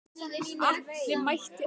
Atli mætti alltaf.